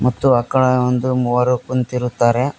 ಮತ್ತು ಅಕಡೆ ಒಂದು ಮೂವರು ಕುಂತಿರುತ್ತಾರೆ.